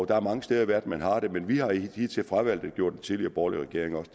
der er mange steder i verden man har det men vi har hidtil fravalgt det det gjorde den tidligere borgerlige regering også